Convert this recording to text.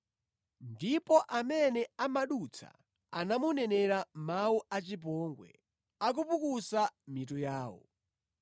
Ndipo amene amadutsa anamunenera mawu a chipongwe, akupukusa mitu yawo.